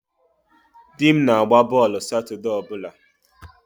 Di m na-agba bọọlụ Satọde ọ bụla.